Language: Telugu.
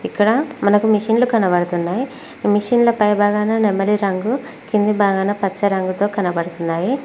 ఇక్కడ మనకు మిషిన్లు కనబడతున్నయ్ ఈ మిషన్ల పై భాగాన నెమలి రంగు కింది భాగాన పచ్చ రంగుతో కనబడతున్నాయి.